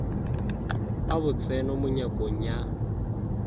a botseno mo nyakong ya